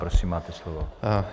Prosím, máte slovo.